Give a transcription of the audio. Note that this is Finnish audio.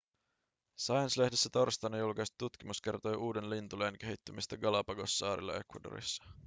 science-lehdessä torstaina julkaistu tutkimus kertoi uuden lintulajin kehittymisestä galapagossaarilla ecuadorissa